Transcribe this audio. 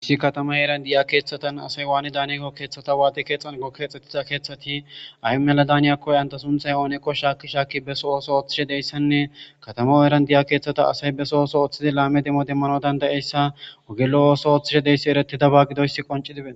issi katama eeran diya keeththatan asay waani daniyago keeththata waati keexan gokkexxettiza keeththati ay mela daaniyakoy anta sunthay ooneko shaakishaakki beso ooso ooththishe deyssanne katama eran diya keeththata asay beso oso ooththidi laame demmo demmano dandayeyssa wogelo ooso ooththishe deyssi ereti daba gidoyssi qonci diben